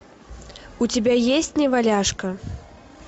у тебя есть неваляшка